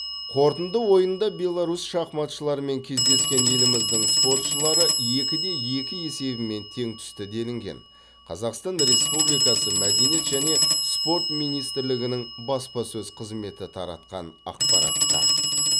қорытынды ойында беларусь шахматшыларымен кездескен еліміздің спортшылары екіде екі есебімен тең түсті делінген қазақстан республикасы мәдениет және спорт министрлігінің баспасөз қызметі таратқан ақпаратта